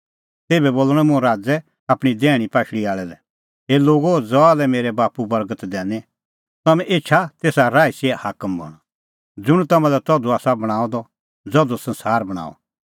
तेभै बोल़णअ मुंह राज़ै आपणीं दैहणीं पाशल़ी आल़ै लै हे लोगो ज़हा लै मेरै बाप्पू बर्गत दैनी तम्हैं एछा तेसा राईसीए हाकम बणां ज़ुंण तम्हां लै तधू आसा बणांअ द ज़धू संसार बणांअ